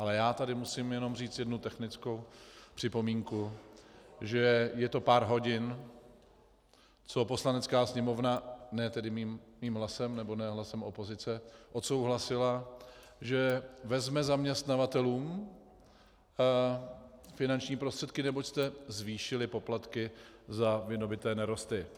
Ale já tady musím jenom říct jednu technickou připomínku - že je to pár hodin, co Poslanecká sněmovna ne tedy mým hlasem nebo ne hlasem opozice odsouhlasila, že vezme zaměstnavatelům finanční prostředky, neboť jste zvýšili poplatky za vydobyté nerosty.